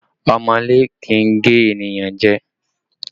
Ọmọọ́lé kì í gé ènìyàn jẹ